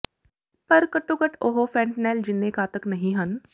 ਪਰ ਘੱਟੋ ਘੱਟ ਉਹ ਫੈਂਟਨੈਲ ਜਿੰਨੇ ਘਾਤਕ ਨਹੀਂ ਹਨ